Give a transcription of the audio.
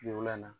Kile wololan na